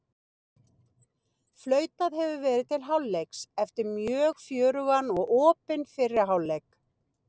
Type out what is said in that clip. Flautað hefur verið til hálfleiks eftir mjög fjörugan og opinn fyrri hálfleik!